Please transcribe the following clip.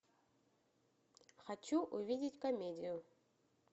хочу увидеть комедию